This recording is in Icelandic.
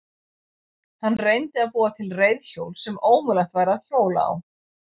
Hann reyndi að búa til reiðhjól sem ómögulegt væri að hjóla á.